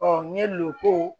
ɲɛ loko